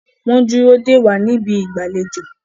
wón dúró dè wá ní Ibi ìgbàlejò.